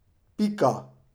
Pika.